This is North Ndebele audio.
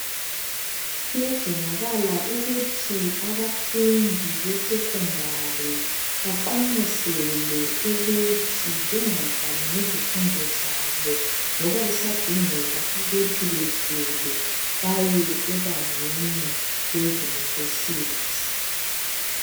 Kuyadingeka ukuthi abafundi besekhondari baqonqoselwe ukuba bengadlali ngezifundo zabo ngoba kusadingeka ukuthi badlulele phambili ema univesithi.